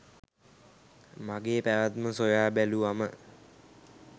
මගේ පැවැත්ම සොයා බැලුවම